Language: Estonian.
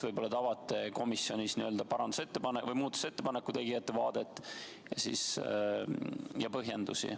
Võib-olla te avate komisjonis muudatusettepaneku tegijate vaadet ja põhjendusi.